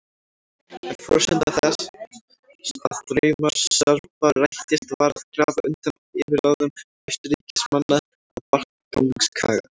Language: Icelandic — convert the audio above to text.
En forsenda þess að draumur Serba rættist var að grafa undan yfirráðum Austurríkismanna á Balkanskaga.